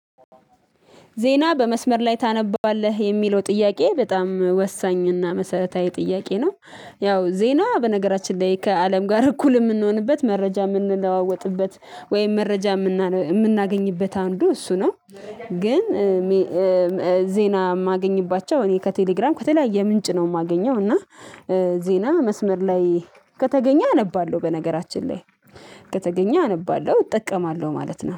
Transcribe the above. ዜና በመስመር ላይ ታነባለህ የሚለው ጥያቄ በጣም ወሳኝ እና መሰረታዊ ጥያቄ ነው። ያው ዜና በነገራችን ላይ ከአለም ጋር እኩል የምንሆንበት መረጃ የምንለዋወጥበት ወይም መረጃ የምናገኝበት አንዱ እሱ ነው። ግን ዜና የማገኝባቸው እኔ ከቴሌግራም ከተለያየ ምንጭ ነው የማገኘው። እና ዜና መስመር ላይ ከተገኘ አነባለሁ በነገራችን ላይ ከተገኘ አነባለሁ እጠቀማለሁ ማለት ነው